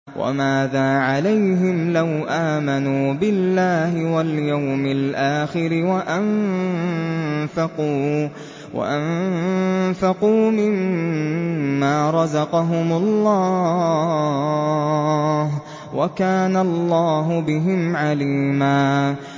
وَمَاذَا عَلَيْهِمْ لَوْ آمَنُوا بِاللَّهِ وَالْيَوْمِ الْآخِرِ وَأَنفَقُوا مِمَّا رَزَقَهُمُ اللَّهُ ۚ وَكَانَ اللَّهُ بِهِمْ عَلِيمًا